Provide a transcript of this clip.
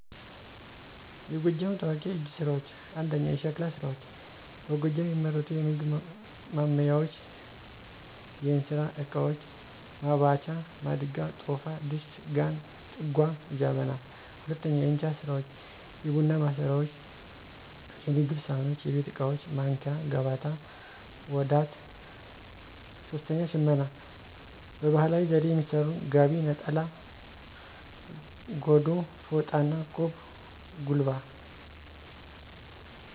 የጎጃም ታዋቂ የእጅ ስራዎች፦ 1. **የሸክላ ስራዎች**፦ በጎጃም የሚመረቱ የምግብ ማንሚያዎች፣ የእንስራ እቃዎች (መባቻ)፣ማድጋ፣ ቶፋ፣ ድስት፣ ጋን፣ ጥጓ፣ ጀበና 2. **የእንጨት ስራዎች**፦ የቡና ማሰሮዎች፣ የምግብ ሳህኖች፣ የቤት ዕቃዎች ማንኪያ፣ ገበታ፣ ዋዳት 3. **ሽመና**፦ በባህላዊ ዘዴ የሚሠሩ ጋቢ፣ ነጠላ፣ ጎዶ፣ ፎጣና፣ ቆብ/ጉልባ